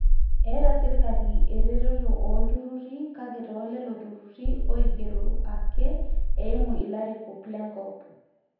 eeta sirkali eretoto oolturrurri kake toolelo turrurri oigerro ake eimu ilarikok lenkop